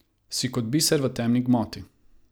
Si kot biser v temni gmoti.